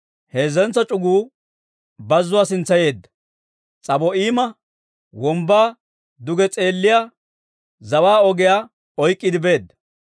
heezzentso c'uguu Beeti-Horoona sintsa yeedda, S'abo'iima Wombbaa duge s'eelliyaa zawaa ogiyaa oyk'k'iide beedda.